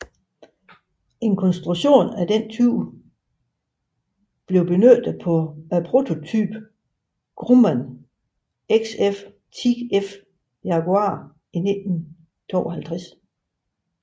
En konstruktion af denne type blev benyttet på prototypen Grumman XF10F Jaguar i 1952